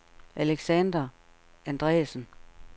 Alexander Andresen